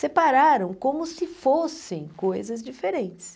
Separaram como se fossem coisas diferentes.